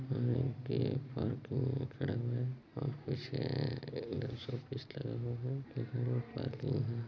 यहाँ के पार्किंग में खड़ा हुआ है और पीछे ऑफिस लगा हुआ है लेकिन रोड पार्किंग है।